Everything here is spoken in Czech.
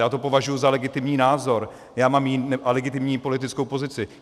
Já to považuji za legitimní názor a legitimní politickou pozici.